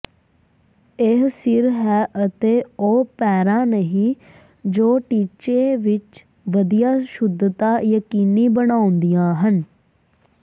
ਇਹ ਸਿਰ ਹੈ ਅਤੇ ਉਹ ਪੈਰਾਂ ਨਹੀਂ ਜੋ ਟੀਚੇ ਵਿਚ ਵਧੀਆ ਸ਼ੁੱਧਤਾ ਯਕੀਨੀ ਬਣਾਉਂਦੀਆਂ ਹਨ